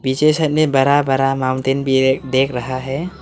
पीछे से हमे बड़ा बड़ा माउंटेन भी एक देख रहा है।